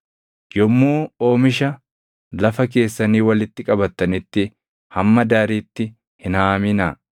“ ‘Yommuu oomisha lafa keessanii walitti qabattanitti hamma daariitti hin haaminaa; qarmii isaa illee hin funaannatinaa.